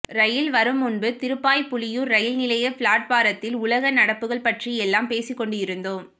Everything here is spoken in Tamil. ரயில் வருமுன்பு திருப்பாப்புலியூர் ரயில் நிலைய பிளாட்பாரத்தில் உலக நடப்புக்கள் பற்றி எல்லாம் பேசிக்கொண்டிருந்தோம்